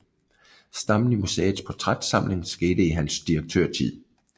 Stammen i museets portrætsamling skete i hans direktørtid